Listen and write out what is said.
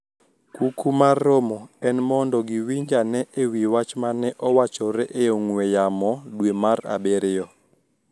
Kuku mar romo en mondo giwinj ane e wi wach mane owachore e ong`we yamo dwe mar abiriyo